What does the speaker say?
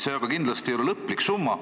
See aga kindlasti ei ole lõplik summa.